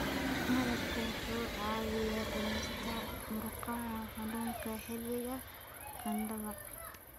Malabku wuxuu caawiyaa dhimista murqaha xanuunka xilliga qandhada.